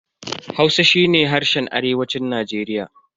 Hausa shi ne harshen arewacin Najeriya.